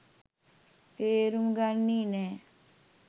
තේරුම් ගත්තේ නෑ.